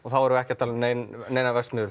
þá erum við ekki að tala um neinar neinar verksmiðjur